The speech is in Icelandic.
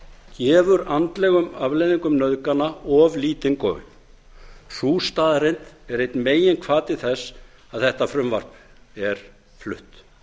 gefur andlegum afleiðingum nauðgana of lítinn gaum sú staðreynd er einn meginhvati þess að þetta frumvarp er flutt